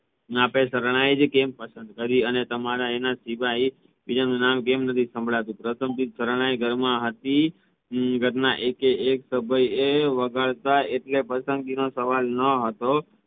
ને આપણે શરણાઈ આજ કેમ પસંદ કરી અને તમારા એના સિવાય બીજાનું નામ કેમ નથી સંભળાતું? પસંગીત શરણાઈ ઘરમાં હતી ઘરના એકે એક સભ્યો એ વગાડતા એટલે પસંદગીનો સવાલ ન હતો